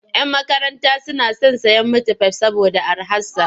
Yan makaranta suna son sayen mitifai saboda araharsa.